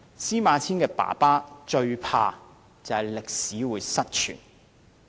司馬遷父親最害怕的是歷史失傳。